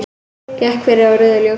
Gekk yfir á rauðu ljósi